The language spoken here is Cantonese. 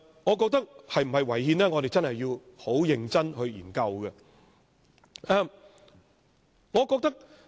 我覺得我們必須認真研究修訂是否違憲。